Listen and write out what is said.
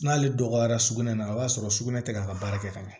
N'ale dɔgɔyara sugunɛ na i b'a sɔrɔ sugunɛ tɛ k'a ka baara kɛ ka ɲɛ